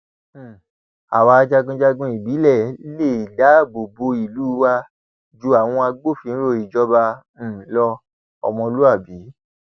um àwa jagunjagun ìbílẹ lè dáàbò bo ìlú wa ju àwọn agbófinró ìjọba um lọọmọlúàbí